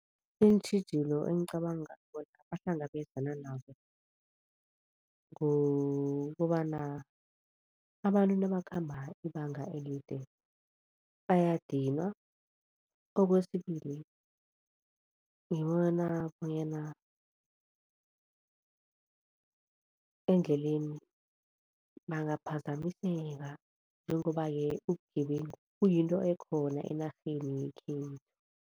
Iintjhijilo engicabanga bona bahlangabezana nazo, kukobana abantu nabakhamba ibanga elide bayadinwa. Okwesibili ngibona bonyana endleleni bangaphazamiseka njengoba-ke ubugebengu kuyinto ekhona enarheni yekhethu.